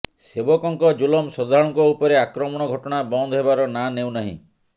ସେବକଙ୍କ ଜୁଲମ ଶ୍ରଦ୍ଧାଳୁଙ୍କ ଉପରେ ଆକ୍ରମଣ ଘଟଣା ବନ୍ଦ ହେବାର ନାଁ ନେଉନାହିଁ